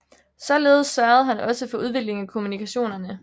Således sørgede han også for udviklingen af kommunikationerne